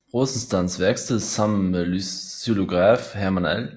Rosenstands værksted sammen med xylograf Herman L